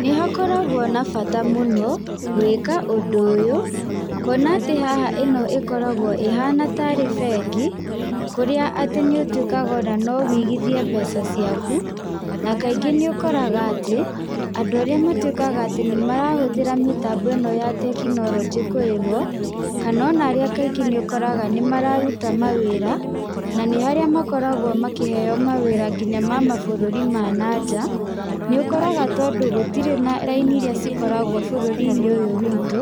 Nĩ hakoragwo na bata mũno, gwĩka ũndũ ũyũ, kuona atĩ haha ĩno ĩkoragwo ĩhana tarĩ bengi, kũrĩa atĩ nĩ ũtuĩkaga ona no wĩigithiĩ mbeca ciaku. Na kaingĩ nĩ ũkoraga atĩ, andũ arĩa matuĩkaga atĩ marahũthĩra mĩtambo ĩno ya tekinoronjĩ kũrĩhwo, kana ona arĩa kaingĩ nĩ ũkoraga nĩ mararuta mawĩra, na nĩ harĩa makoragwo makĩheyo mawĩra nginya ma mabũrũri ma na nja, nĩ ũkoraga tondũ gũtirĩ na raini irĩa cikoragwo bũrũri-inĩ ũyũ witũ,